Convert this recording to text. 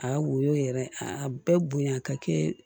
A woyo yɛrɛ a bɛɛ bonya ka kɛ